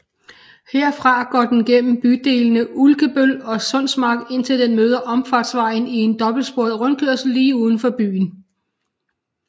Herfra går den gennem bydelene Ulkebøl og Sundsmark indtil den møder Omfartsvejen i en dobbeltsporet rundkørsel lige udenfor byen